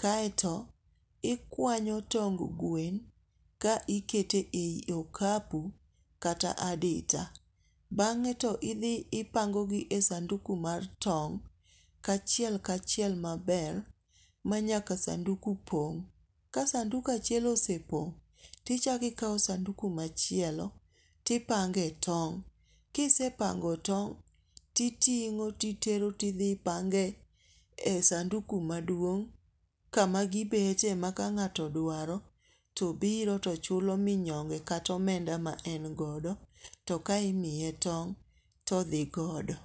kaeto ikwanyo tong' gwen ka ikete e yi okapu kata adita, bang'e to idhi ti ipangogi e sanduku mar tong', kachiel kachiel maber ma nyaka sanduku pong', ka sanduku achiel osepong' tichako ikawo sanduku machielo tipang'e tong kisepango tong, titingo ti titero ti thi ipange e sanduku maduong' kama gibete ma kang'ato dwaro to biro to chulo minyonge kata omenda ma en godo to kae imiye tong' to odhigodo.